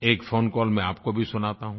एक phone call मैं आपको भी सुनाता हूँ